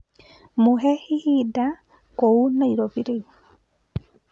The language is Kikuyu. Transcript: mũhe ihinda kũũ Nairobi rĩu